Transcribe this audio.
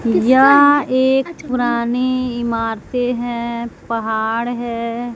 यह एक पुरानी इमारतें है पहाड़ है।